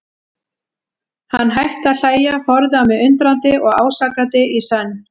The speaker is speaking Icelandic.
Hann hætti að hlæja, horfði á mig undrandi og ásakandi í senn.